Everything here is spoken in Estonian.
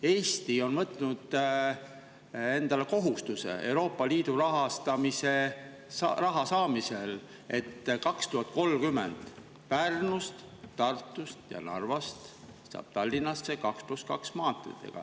Eesti on võtnud endale Euroopa Liidu raha saamiseks kohustuse, et 2030. aastast saab Pärnust, Tartust ja Narvast Tallinnasse mööda 2 + 2 maanteed.